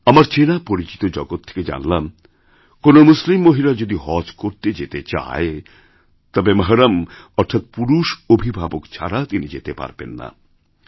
আমার চেনাপরিচিত জগৎ থেকে জানলামকোনো মুসলিম মহিলা যদি হজ করতে যেতে চায় তবে মহরম অর্থাৎ পুরুষ অভিভাবক ছাড়া তিনিযেতে পারবেন না